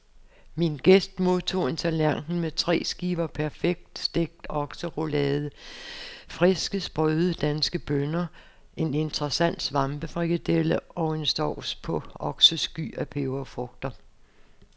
Min gæst modtog en tallerken med tre skiver perfekt stegt okseroulade, friske, sprøde, danske bønner, en interessant svampefrikadelle og en sauce på oksesky og peberfrugter.